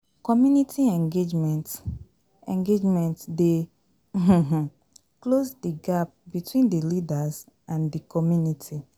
Community engagement engagement dey um close di gap between di leaders and di community